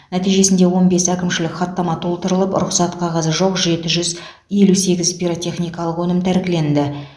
нәтижесінде он бес әкімшілік хаттама толтырылып рұқсат қағазы жоқ жеті жүз елу сегіз пиротехникалық өнім тәркіленді